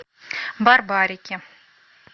барбарики